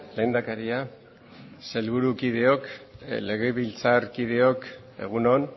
lehendakaria sailburu kideok legebiltzarkideok egun on